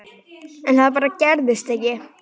En það bara gerðist ekki.